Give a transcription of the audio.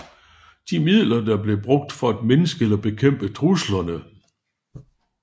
De midler der bliver brugt for at mindske eller bekæmpe truslerne